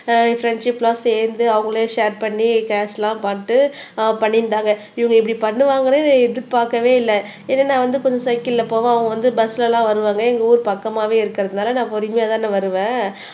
என் friendship எல்லாம் சேர்ந்து அவங்களே ஷேர் பண்ணி கேஸ் எல்லாம் பண்ணிட்டு ஆஹ் பண்ணியிருந்தாங்க இவங்க இப்படி பண்ணுவாங்கன்னு எதிர்பார்க்கவே இல்ல ஏன்னா நான் வந்து கொஞ்சம் சைக்கிள்ல போவேன் அவங்க வந்து பஸ்ல எல்லாம் வருவாங்க எங்க ஊர் பக்கமாவே இருக்கிறதுனால நான் பொறுமையாதானே வருவேன்